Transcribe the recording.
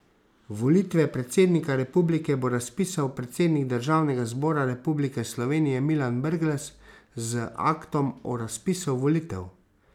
Volitve predsednika republike bo razpisal predsednik Državnega zbora Republike Slovenije Milan Brglez z aktom o razpisu volitev.